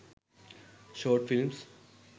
short films